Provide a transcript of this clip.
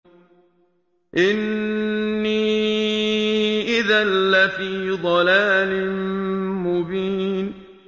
إِنِّي إِذًا لَّفِي ضَلَالٍ مُّبِينٍ